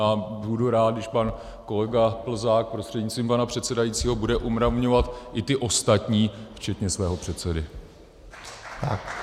A budu rád, když pan kolega Plzák prostřednictvím pana předsedajícího bude umravňovat i ty ostatní včetně svého předsedy.